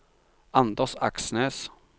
Anders Aksnes